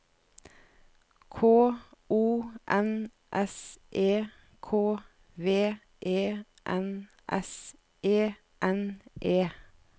K O N S E K V E N S E N E